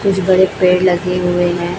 कुछ बड़े पेड़ लगे हुए हैं।